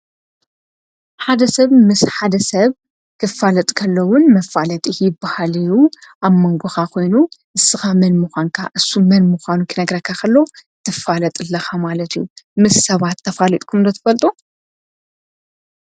ሓደ ሰብ ምስ ሓደ ሰብ ክፋለጥ ከሎዉን መፋለጢ ይበሃል እዩ፡፡ ኣብ መንጐኻ ኮይኑ ንስኻ መን ምዃንካ እሱ መን ምዃኑ ክነግረካ ኸሎ ትፋለጥ ኣለኻ ማለት እዩ፡፡ ምስ ሰባት ተፋሊጥኩም ዶ ትፈልጡ?